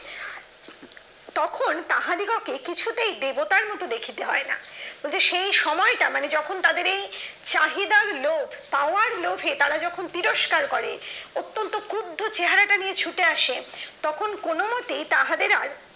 তখন তাহাদিগকে কিছুতেই দেবতার দেখিতে হয় না ওই যে সেই সময়টা মানে যখন তাদের এই চাহিদার লোক পাওয়ার লোভে যখন তারা তিরস্কার করে অত্যন্ত ক্রোধ চেহারাটা নিয়ে ছুটে আসে তখন কোন কোনমতেই তাহাদের আর